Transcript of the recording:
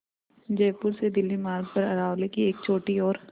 जयपुर से दिल्ली मार्ग पर अरावली की एक छोटी और